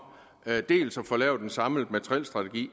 dels at få lavet en samlet materielstrategi